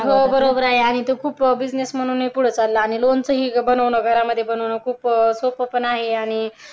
हो बरोबर आहे आणि तो बिझनेस म्हणूनही पुढे चाललं आणि लोणचे बनवणे घरामध्ये बनवण खूप सोपं आहे आणि